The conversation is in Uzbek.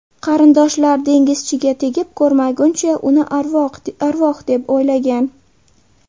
Qarindoshlar dengizchiga tegib ko‘rmaguncha uni arvoh deb o‘ylagan.